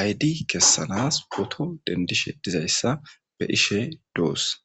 aydi kessanas poto dendishe dizayssa be'ishe doosan.